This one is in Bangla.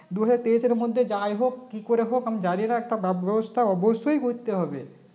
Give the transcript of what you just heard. দুই হাজার তেইশ এর মধ্যে যাইহোক কিকরে হোক আমি জানিনা একটা ব্যবস্থা অবশ্যই করতে হবে